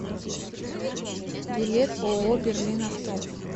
билет ооо берлин авто